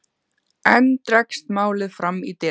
Enn dregst málið fram í desember.